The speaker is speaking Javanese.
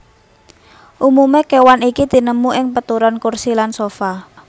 Umume kewan iki tinemu ing peturon kursi lan sofa